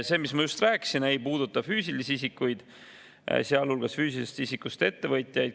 See, mis ma just rääkisin, ei puuduta füüsilisi isikuid, sealhulgas füüsilisest isikust ettevõtjaid.